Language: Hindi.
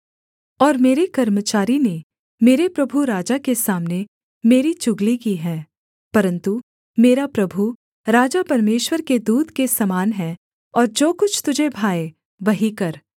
और मेरे कर्मचारी ने मेरे प्रभु राजा के सामने मेरी चुगली की है परन्तु मेरा प्रभु राजा परमेश्वर के दूत के समान है और जो कुछ तुझे भाए वही कर